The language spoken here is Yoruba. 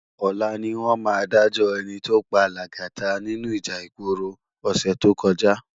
Òlá niwòn má dájò èní tó pá Lagata ninú íjà igbóró òsè tókòjá